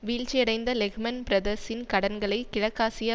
வீழ்ச்சியடைந்த Lehman பிரதர்ஸின் கடன்களை கிழக்காசிய